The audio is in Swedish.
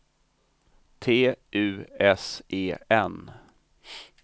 T U S E N